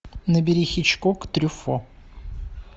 набери хичкок трюффо